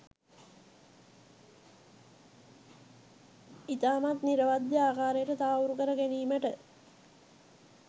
ඉතාමත්ම නිරවද්‍ය ආකාරයට තහවුරු කර ගැනීමට